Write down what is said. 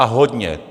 A hodně.